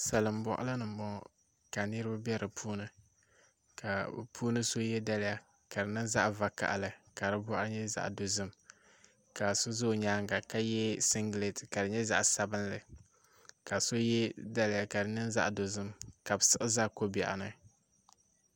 Salin boɣali ni n boŋo ka niraba bɛ do puuni ka bi puuni so yɛ daliya ka di niŋ zaɣ vakaɣali ka di boɣari nyɛ zaɣ dozim ka so ʒɛ o nyaanga ka yɛ singɛrat ka di nyɛ zaɣ sabinli ka so yɛ daliya ka di niŋ zaɣ dozim ka bi siɣi ʒɛ ko biɛɣu ni